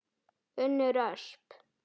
Unnur Ösp.